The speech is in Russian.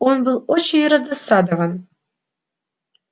он был очень раздосадован